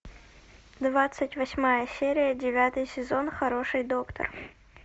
двадцать восьмая серия девятый сезон хороший доктор